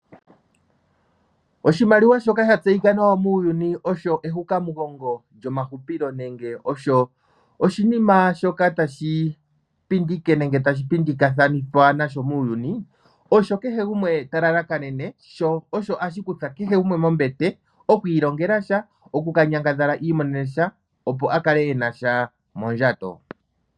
Oshimaliwa shoka sha tseyika nawa muuyuni osho ehukamugongo lyomahupilo nenge osho oshinima shoka tashi pindikwa nasho muuyuni, osho kehe gumwe ta lalakanene, sho osho hashi kutha kehe gumwe mombete oku ilongela sha oku ka nyangadhala i imonene sha, opo a kale ena sha mondjato.